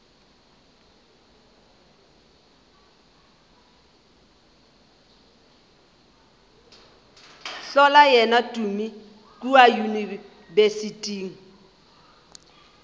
hlola yena tumi kua yunibesithing